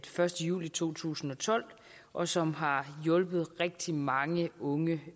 første juli to tusind og tolv og som har hjulpet rigtig mange unge